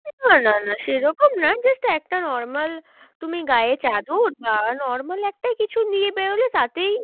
না না না সে রকম না just একটা normal তুমি গায়ে চাদর বা normal একটা কিছু নিয়ে বেরোলে তাতেই